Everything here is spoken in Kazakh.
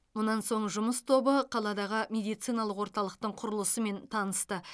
мұнан соң жұмыс тобы қаладағы медициналық орталықтың құрылысымен танысты